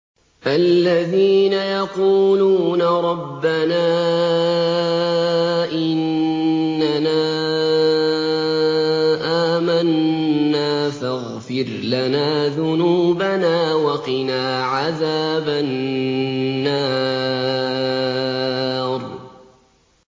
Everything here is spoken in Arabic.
الَّذِينَ يَقُولُونَ رَبَّنَا إِنَّنَا آمَنَّا فَاغْفِرْ لَنَا ذُنُوبَنَا وَقِنَا عَذَابَ النَّارِ